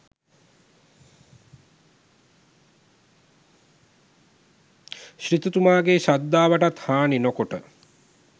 සිටුතුමාගේ ශ්‍රද්ධාවටත් හානි නොකොට